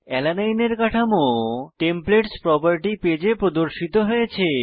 alanine এর কাঠামো templates property পেজে প্রদর্শিত হয়েছে